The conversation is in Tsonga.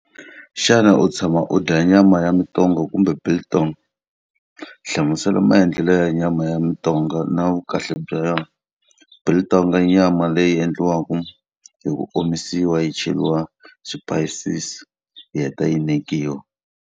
Xana u tshama u dya nyama ya mitonga kumbe biltong? Hlamusela hi maendlelo ya nyama ya mitonga na vukahle bya yona. Biltong i nyama leyi endliwaka hi ku omisiwa yi cheriwa swipayisisi, yi heta yi nekiwa.